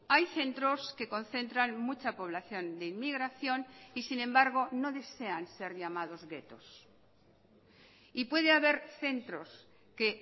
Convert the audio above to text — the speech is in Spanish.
hay centros que concentran mucha población de inmigración y sin embargo no desean ser llamados guetos y puede haber centros que